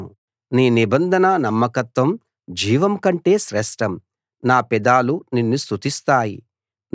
నీ నిబంధన నమ్మకత్వం జీవం కంటే శ్రేష్టం నా పెదాలు నిన్ను స్తుతిస్తాయి